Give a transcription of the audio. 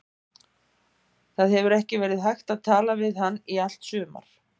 Það hefur ekki verið hægt að tala við hann í allt sumar.